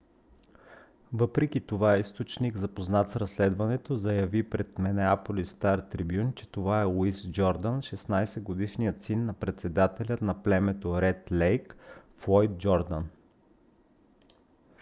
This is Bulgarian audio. въпреки това източник запознат с разследването заяви пред минеаполис стар трибюн че това е луис джордан 16-годишният син на председателя на племето ред лейк - флойд джордан